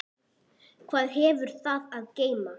Hvað hefur það að geyma?